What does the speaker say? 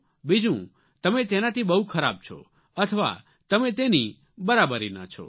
બીજું તમે તેનાથી બહુ ખરાબ છો અથવા તમે તેની બરાબરીના છો